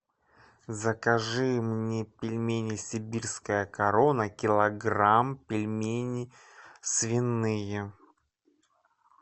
закажи мне пельмени сибирская корона килограмм пельмени свиные